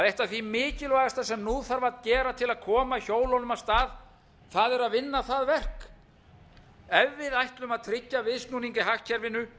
eitt af því mikilvægasta sem nú þarf að gera til að koma hjólunum af stað það er að vinna það verk ef við ætlum að tryggja viðsnúning í hagkerfinu